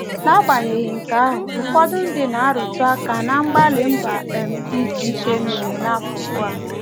N'agbanyeghị nke ahụ, ụfọdụ ndị na - arụta aka ná mgbalị mba um dị iche iche mere n’akụkụ a.